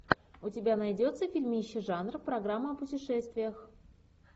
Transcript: у тебя найдется фильмище жанр программа о путешествиях